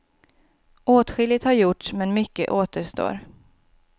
Åtskilligt har gjorts men mycket återstår.